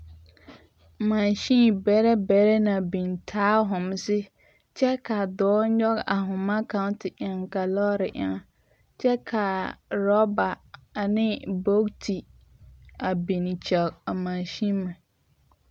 Machine bɛrɛ bɛrɛ la biŋ taa homsi kyɛ ka a dɔɔ nyɔge a voma kaŋ te eŋe a lɔɔre eŋɛ kyɛ ka a rubber ane bogti a biŋ kyɛge a machineme.